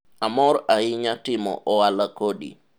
amor ahinya timo ohala kodi